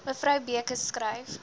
mevrou beukes skryf